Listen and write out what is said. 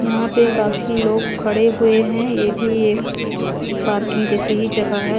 यहां पे काफी लोग खड़े हुए हैं ये भी एक पार्किंग जैसे ही जगह है।